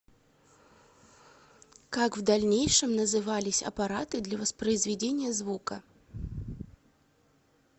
как в дальнейшем назывались аппараты для воспроизведения звука